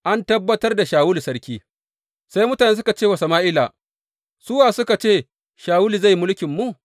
An tabbatar da Shawulu sarki Sai mutane suka ce wa Sama’ila, Su wa suka ce, Shawulu zai yi mulkinmu?’